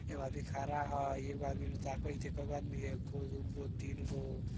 एक आदमी खड़ा हई एक आदमी ने ताकत् हई कयगो आदमी हई एगो दुगो तीनगो।